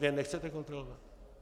Vy je nechcete kontrolovat?